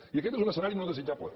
i aquest és un escenari no desitjable